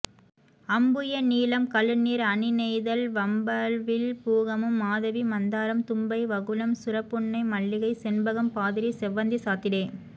அம்புய நீலம் கழுநீர் அணிநெய்தல்வம்பவிழ் பூகமும் மாதவி மந்தாரம் தும்பை வகுளம் சுர புன்னை மல்லிகை செண்பகம் பாதிரி செவ்வந்திசாத்திடே